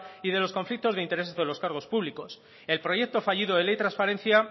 y de los conflictos de intereses de los cargos públicos el proyecto fallido de ley transparencia